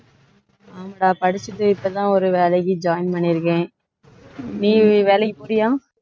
ஆமாடா படிச்சுட்டு இப்பதான் ஒரு வேலைக்கு join பண்ணியிருக்கேன் நீ வேலைக்கு போறியா